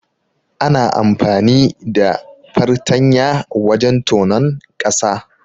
Ana amfani da fartanya wajen tonon ƙasa.